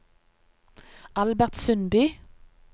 Albert Sundby